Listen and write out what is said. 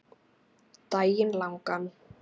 Daginn langan.